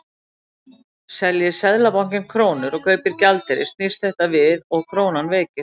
Selji Seðlabankinn krónur og kaupir gjaldeyri snýst þetta við og krónan veikist.